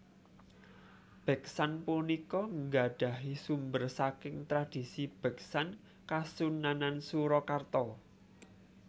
Beksan punika nggadahi sumber saking tradisi beksan Kasunanan Surakarta